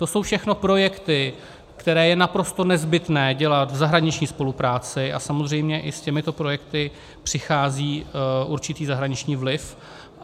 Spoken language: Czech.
To jsou všechno projekty, které je naprosto nezbytné dělat v zahraniční spolupráci, a samozřejmě i s těmito projekty přichází určitý zahraniční vliv.